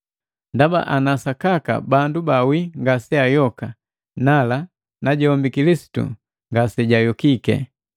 Ndaba ana sakaka bandu bawii ngaseayoka, nala najombi Kilisitu ngasejayokiki.